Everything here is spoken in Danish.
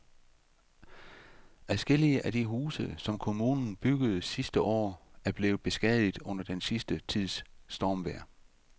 Adskillige af de huse, som kommunen byggede sidste år, er blevet beskadiget under den sidste tids stormvejr.